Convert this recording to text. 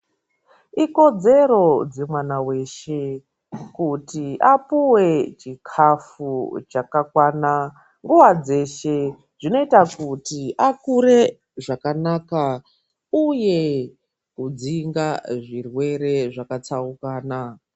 Ikodzero dzemwana weshe kuti apuwe chikafu chakakwana nguwa dzeshe, zvinoita kuti akure zvakanaka uye kudzinga zvirwere zvakatsaukana.